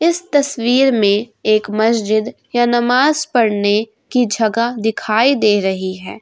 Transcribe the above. इस तस्वीर में एक मस्जिद या नमाज़ पढ़ने की जगह दिखाई दे रही है।